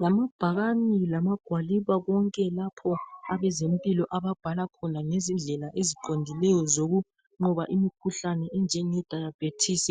Lamabhakani lamagwaliba konke lapho abezempilo ababhala khona ngezindlela eziqondileyo zokunqoba imikhuhlane enjenge diabetes .